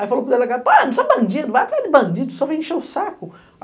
Aí falou para o delegado, pô, eu não sou bandido, vai atrás de bandido, só vem encher o saco.